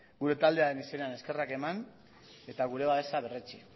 gure taldearen izenean eskerrak eman eta gure babesa berretsi